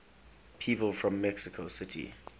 people from mexico city